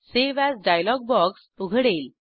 save as dialog box उघडेल